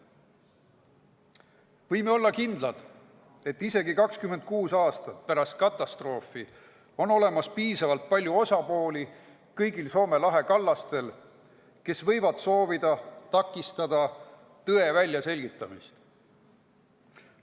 Võime olla kindlad, et isegi 26 aastat pärast katastroofi on kõigil Soome lahe kallastel piisavalt palju osapooli, kes võivad soovida takistada tõe väljaselgitamist.